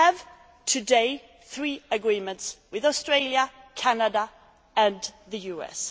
Today we have three agreements with Australia, Canada and the US.